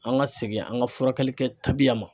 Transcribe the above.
An ka segin an ka furakɛli kɛ tabiya ma.